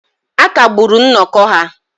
A kagburu nnọkọ ha